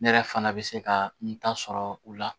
Ne yɛrɛ fana bɛ se ka n ta sɔrɔ u la